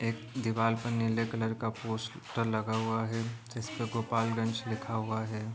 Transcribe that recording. पे नीले कलर का पोस्टर लगा हुआ है जिस पे गोपालगंज लिखा हुआ है।